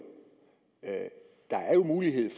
der er jo mulighed